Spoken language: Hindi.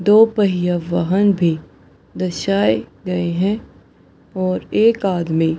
दो पहिया वाहन भी दर्शाए गए हैं और एक आदमी --